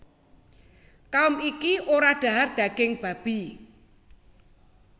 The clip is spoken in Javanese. Kaum iki ora dhahar daging babi